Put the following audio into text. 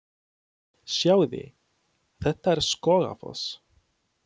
Sjáiði! Þetta er Skógafoss.